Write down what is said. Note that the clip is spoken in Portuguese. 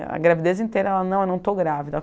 A gravidez inteira, ela não, eu não estou grávida.